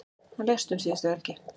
Hann lést um síðustu helgi.